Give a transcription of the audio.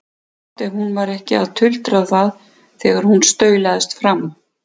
Gott ef hún var ekki að tuldra það þegar hún staulast fram.